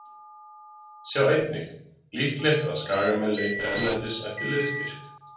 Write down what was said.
Sjá einnig: Líklegt að Skagamenn leiti erlendis eftir liðsstyrk